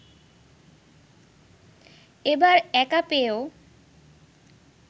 এবার একা পেয়েও